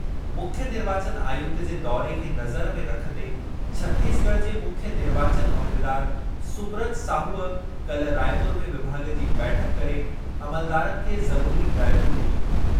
मुख्यु निर्वाचनु आयुक्त जे दौरे खे नज़र में रखंदे छतीसगढ़ जे मुख्यु निर्वाचन उहिदेदार सुब्रत साहूअ काल्ह रायपुर में विभाॻ जी बैठकु करे अमलदारनि खे ज़रुरी हिदायतूं ॾिनियूं।